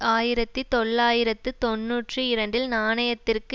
ஆயிரத்தி தொள்ளாயிரத்து தொன்னூற்றி இரண்டில் நாணயத்திற்கு